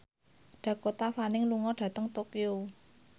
Dakota Fanning lunga dhateng Tokyo